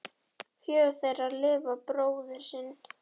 Fjögur þeirra lifa bróður sinn.